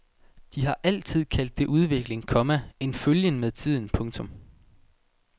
De har altid kaldt det udvikling, komma en følgen med tiden. punktum